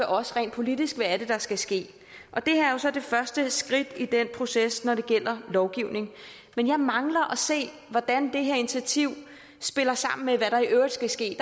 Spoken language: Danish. os rent politisk hvad er det der skal ske og det her er jo så det første skridt i den proces når det gælder lovgivning men jeg mangler at se hvordan det her initiativ spiller sammen med hvad der i øvrigt skal ske